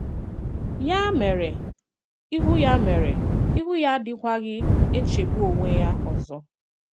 Yà mèrè, “íhù́ Yà mèrè, “íhù́ ya adịkwaghị̀ echegbù onwe ya ọzọ.